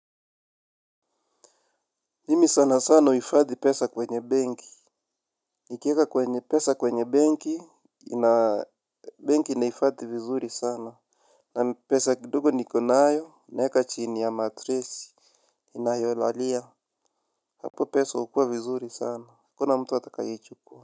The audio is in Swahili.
Mimi sana sana huhifadhi pesa kwenye benki. Nikiweka kwenye pesa kwenye benki ina benki inaifadhi vizuri sana. Na pesa kidogo niko nayo, naweka chini ya matresi ninayolalia, hapo pesa hukuwa vizuri sana, hakuna mtu atakayeichukua.